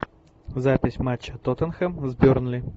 запись матча тоттенхэм с бернли